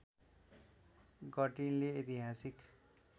गर्टिनले ऐतिहासिक